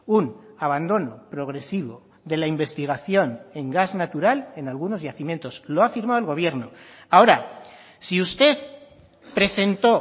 un abandono progresivo de la investigación en gas natural en algunos yacimientos lo ha firmado el gobierno ahora si usted presentó